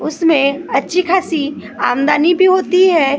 उसमे अच्छी खासी आमदनी भी होती है रोड पूरा।